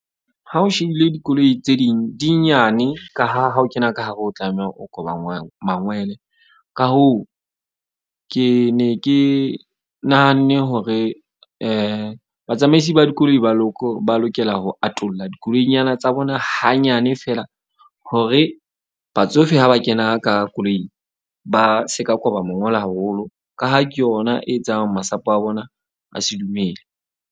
Ha o shebile dikoloi tse ding di nyane ka ha ha o kena ka hare, o tlameha o koba mangwele. Ka hoo, ke ne ke nahanne hore batsamaisi ba dikoloi ba lokela ho atolla dikoloinyana tsa bona hanyane fela. Hore batsofe ha ba kena ka koloing. Ba se ka koba mongola haholo, ka ha ke yona e etsang masapo a bona a se dumele.